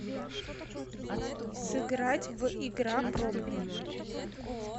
сыграть в игра пробный